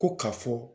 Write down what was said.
Ko ka fɔ